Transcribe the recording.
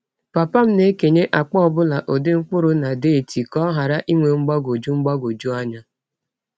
Papa m na-ekenye akpa ọ bụla ụdị mkpụrụ na deeti ka ọ ghara inwe mgbagwoju mgbagwoju anya.